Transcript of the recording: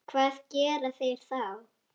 Hvað gera þeir þá?